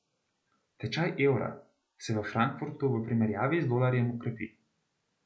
Tečaj evra se v Frankfurtu v primerjavi z dolarjem krepi.